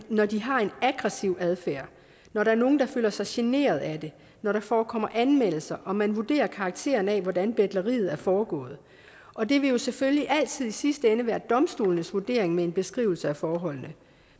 når de har en aggressiv adfærd når der er nogle der føler sig generet af det når der forekommer anmeldelser og man vurderer karakteren af hvordan betleriet er foregået og det vil jo selvfølgelig altid i sidste ende være domstolenes vurdering med en beskrivelse af forholdene